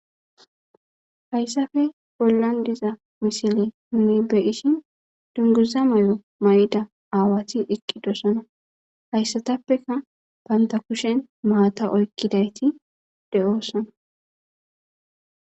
hayssafe bollan diza misile tani beyishin dunguza may7o may7ida aawati iqqidossana hayssatappeka banta kushen maata oykkidayti de7oossana